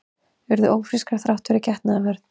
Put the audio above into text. Urðu ófrískar þrátt fyrir getnaðarvörn